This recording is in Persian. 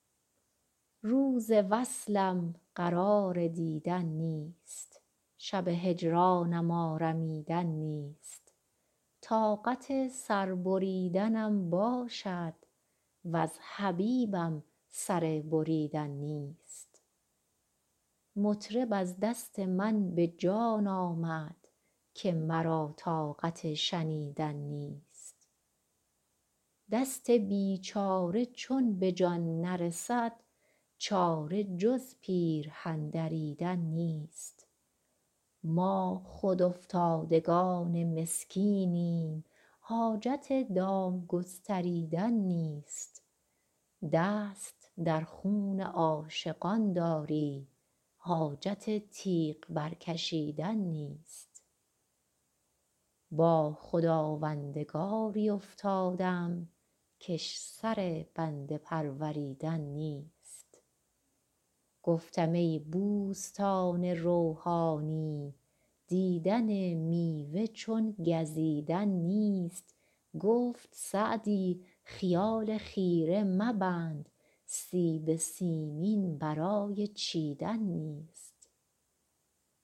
روز وصلم قرار دیدن نیست شب هجرانم آرمیدن نیست طاقت سر بریدنم باشد وز حبیبم سر بریدن نیست مطرب از دست من به جان آمد که مرا طاقت شنیدن نیست دست بیچاره چون به جان نرسد چاره جز پیرهن دریدن نیست ما خود افتادگان مسکینیم حاجت دام گستریدن نیست دست در خون عاشقان داری حاجت تیغ برکشیدن نیست با خداوندگاری افتادم کش سر بنده پروریدن نیست گفتم ای بوستان روحانی دیدن میوه چون گزیدن نیست گفت سعدی خیال خیره مبند سیب سیمین برای چیدن نیست